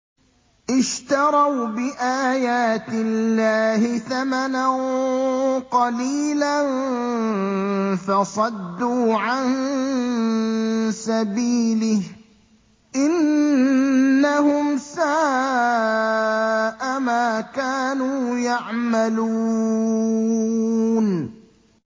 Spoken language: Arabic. اشْتَرَوْا بِآيَاتِ اللَّهِ ثَمَنًا قَلِيلًا فَصَدُّوا عَن سَبِيلِهِ ۚ إِنَّهُمْ سَاءَ مَا كَانُوا يَعْمَلُونَ